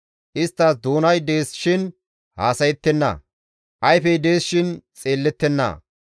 Isttas doonay dees shin haasayettenna; ayfey dees shin xeellettenna.